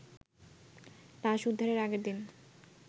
লাশ উদ্ধারের আগের দিন